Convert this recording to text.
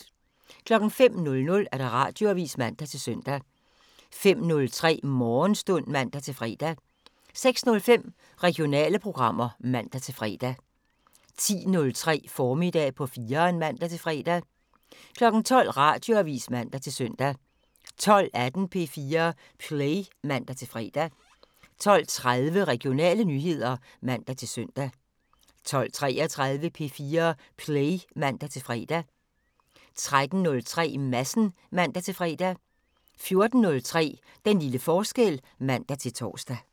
05:00: Radioavisen (man-søn) 05:03: Morgenstund (man-fre) 06:05: Regionale programmer (man-fre) 10:03: Formiddag på 4'eren (man-fre) 12:00: Radioavisen (man-søn) 12:18: P4 Play (man-fre) 12:30: Regionale nyheder (man-søn) 12:33: P4 Play (man-fre) 13:03: Madsen (man-fre) 14:03: Den lille forskel (man-tor)